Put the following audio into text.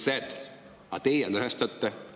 Aga teie lõhestate.